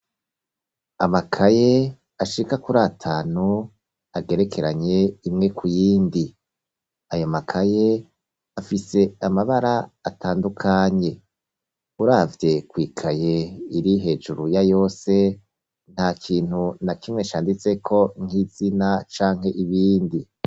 Amakaye ashika kuri atanu, agerekeranye, imwe ku yindi, ayo makaye, afise amabara atandukanye; uravye kw'ikaye iri hejuru ya yose, nta kintu na kimwe canditseko, nk'izina canke ibindi.